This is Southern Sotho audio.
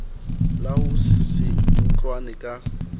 la ho se utlwane ka